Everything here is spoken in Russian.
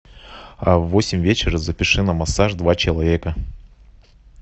в восемь вечера запиши на массаж два человека